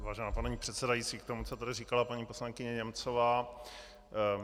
Vážená paní předsedající, k tomu, co tady říkala paní poslankyně Němcová.